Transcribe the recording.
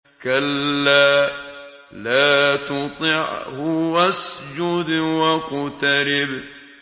كَلَّا لَا تُطِعْهُ وَاسْجُدْ وَاقْتَرِب ۩